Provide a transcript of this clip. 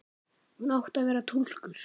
Hún átti að vera túlkur.